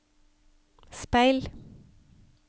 speil